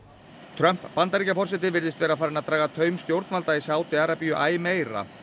Trump Bandaríkjaforseti virðist vera farinn að draga taum stjórnvalda í Sádi Arabíu æ meira